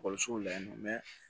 Ekɔlisow la yen nɔ